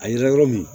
A yira yɔrɔ min